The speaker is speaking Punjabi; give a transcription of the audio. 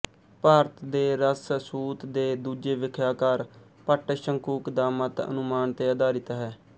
ਭਾਰਤ ਦੇ ਰਸ ਸੂਤ੍ ਦੇ ਦੂਜੇ ਵਿਆਖਿਆਕਾਰ ਭੱਟ ਸ਼ੰਕੁਕ ਦਾ ਮਤ ਅਨੁਮਾਨ ਤੇ ਆਧਾਰਿਤ ਹੈ